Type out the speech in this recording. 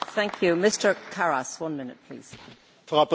Frau Präsidentin, Herr Präsident, meine Damen und Herren!